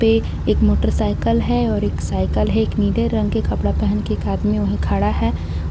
पे एक मोटरसाइकिल है और एक साइकिल है एक नीले रंग का कपड़ा पहने आदमी वहां खड़ा है और--